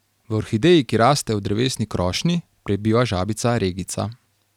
V orhideji, ki raste v drevesni krošnji, prebiva žabica regica.